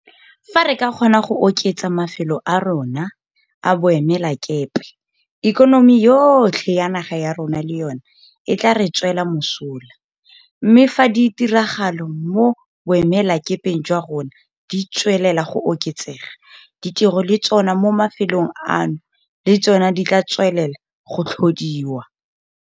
Fa re ka kgona go oketsa mafelo a rona a boemelakepe ikonomi yotlhe ya naga ya rona le yona e tla re tswela mosola - mme fa ditirgalo mo boemelakepeng jwa rona di tswelela go oketsega, ditiro le tsona mo mafelong ano le tsona di tla tswelela go tlhodiwa.